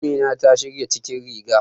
Amina ta shirya cikin riga.